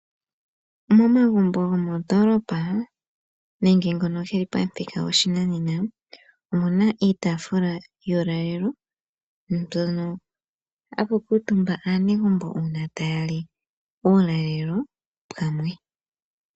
Momagumbo gomondoolopa nenge ngono ge li pamuthika goshinanena omu na iitaafula yuulalelo mpono hapu kuutumba aanegumbo uuna taya li uulalelo pamwe.